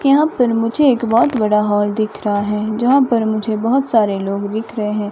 यहां पर मुझे एक बहुत बड़ा हॉल दिख रहा है जहां पर मुझे बहुत सारे लोग दिख रहे हैं।